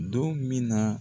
Don min na